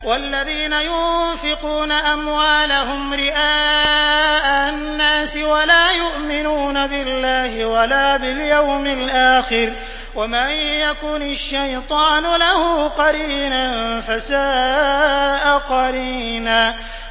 وَالَّذِينَ يُنفِقُونَ أَمْوَالَهُمْ رِئَاءَ النَّاسِ وَلَا يُؤْمِنُونَ بِاللَّهِ وَلَا بِالْيَوْمِ الْآخِرِ ۗ وَمَن يَكُنِ الشَّيْطَانُ لَهُ قَرِينًا فَسَاءَ قَرِينًا